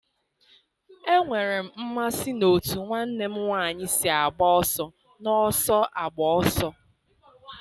Enwere m mmasị n'otú nwanne m nwanyị si agba ọsọ n'ọsọ agba ọsọ.